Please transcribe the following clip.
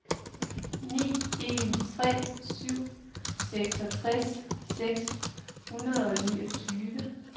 ni en tre syv seksogtres seks hundrede og niogtyve